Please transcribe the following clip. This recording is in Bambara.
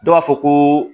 Dɔw b'a fɔ ko